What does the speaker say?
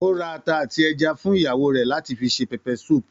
Ó ra ata àti ẹja àrọ̀ fún ìyàwó rẹ láti fi se pepper soup